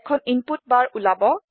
এখন ইনপুট বাৰ ওলাব